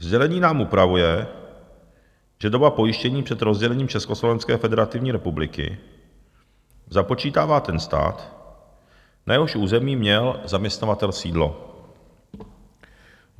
"Sdělení nám upravuje, že dobu pojištění před rozdělením Československé federativní republiky započítává ten stát, na jehož území měl zaměstnavatel sídlo."